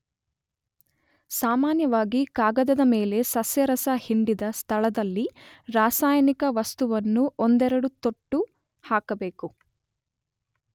ಸಾಮಾನ್ಯವಾಗಿ ಕಾಗದದ ಮೇಲೆ ಸಸ್ಯರಸ ಹಿಂಡಿದ ಸ್ಥಳದಲ್ಲಿ ರಾಸಾಯನಿಕ ವಸ್ತುವನ್ನು ಒಂದೆರಡು ತೊಟ್ಟು ಹಾಕಬೇಕು.